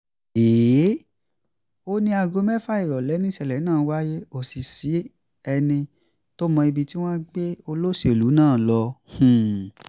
ó ní aago mẹ́fà ìrọ̀lẹ́ nìṣẹ̀lẹ̀ náà wáyé kò sì sẹ́ni tó mọ ibi tí wọ́n gbé olóṣèlú náà lọ